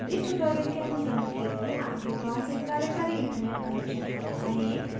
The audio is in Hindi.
इस ट्यूटोरियल के अनुस्सरण के लिए आपके पास एक कार्यकारी इंटरनेट कनेक्शन होना चाहिए